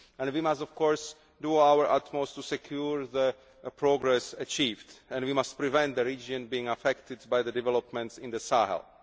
We must, of course, do our utmost to secure the progress achieved and we must prevent the region from being affected by the developments in the Sahel.